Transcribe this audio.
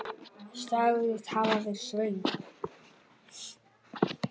Sagðist hafa verið svöng.